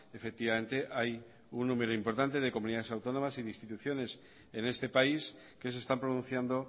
efectivamente hay un número importante de comunidades autónomas y de instituciones en este país que se están pronunciando